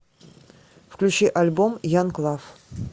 включи альбом янг лав